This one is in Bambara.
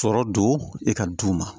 Sɔrɔ don i ka du ma